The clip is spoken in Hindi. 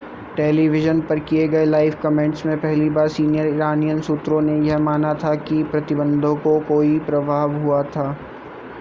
टेलीविज़न पर किए गए लाइव कमेंट्स में पहली बार सीनियर इरानियन सूत्रों ने यह माना था कि प्रतिबंधों को कोई प्रभाव हुआ था